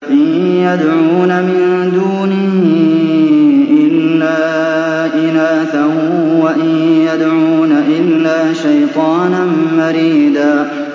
إِن يَدْعُونَ مِن دُونِهِ إِلَّا إِنَاثًا وَإِن يَدْعُونَ إِلَّا شَيْطَانًا مَّرِيدًا